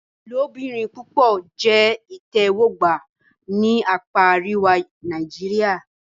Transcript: Ilobirin-pupọ jẹ itẹwọgba ni apa ariwa Nàìjíríà.